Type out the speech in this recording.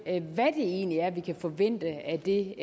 egentlig er vi kan forvente af det